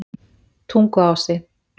Tunguási